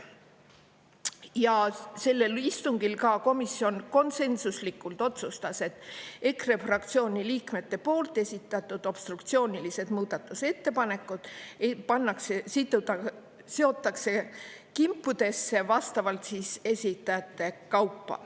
Ja sellel istungil ka komisjon konsensuslikult otsustas, et EKRE fraktsiooni liikmete esitatud obstruktsioonilised muudatusettepanekud pannakse seotakse kimpudesse vastavalt esitajate kaupa.